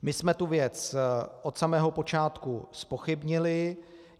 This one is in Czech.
My jsme tu věc od samého počátku zpochybnili.